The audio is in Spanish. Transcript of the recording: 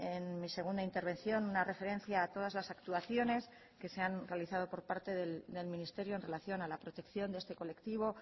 en mi segunda intervención una referencia a todas las actuaciones que se han realizado por parte del ministerio en relación a la protección de este colectivo